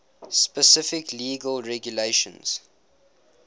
specific legal regulations